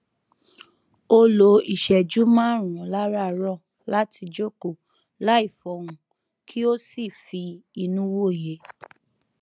ó lo ìṣẹjú márùnún láràárọ láti jókòó láì fọhùn kí ó sì fi inú wòye